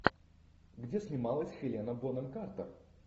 где снималась хелена бонем картер